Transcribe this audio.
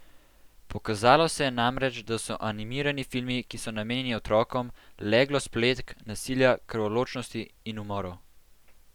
Pokazalo se je namreč, da so animirani filmi, ki so namenjeni otrokom, leglo spletk, nasilja, krvoločnosti in umorov.